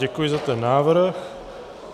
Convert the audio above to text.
Děkuji za ten návrh.